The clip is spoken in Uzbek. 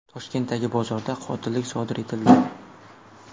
Toshkentdagi bozorda qotillik sodir etildi.